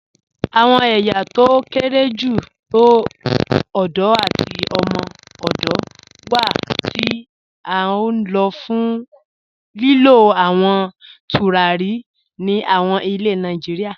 Awọn èyá tó kéré jù tó òdò àti òmò-òdò wà ti a n lọ̀ fún lílú àwọn tùràrí ní àwọn ilẹ̀ Nàìjíríà.